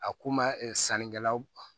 A ko ma sanni kɛlaw